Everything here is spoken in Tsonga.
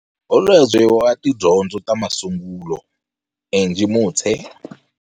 Holobye wa Tidyondzo ta Masungulo, Angie Motshe.